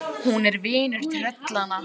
Hún er vinur tröllanna.